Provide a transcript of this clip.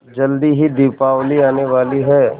जल्दी ही दीपावली आने वाली है